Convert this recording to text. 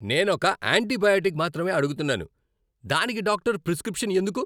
నేనొక ఆంటీబయోటిక్ మాత్రమే అడుగుతున్నాను.దానికి డాక్టరు ప్రిస్క్రిప్షన్ ఎందుకు?